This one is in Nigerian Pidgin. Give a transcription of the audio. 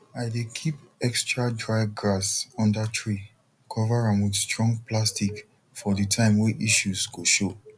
i dey keep extra dry grass under tree cover am with strong plastic for the time way issues go show